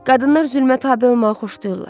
Qadınlar zülmə tabe olmağı xoşlayırlar.